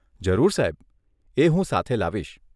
જરૂર સાહેબ, એ હું સાથે લાવીશ.